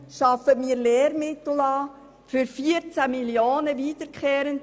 Wir beschaffen jedes Jahr Lehrmittel für 14 Mio. Franken.